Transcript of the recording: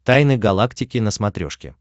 тайны галактики на смотрешке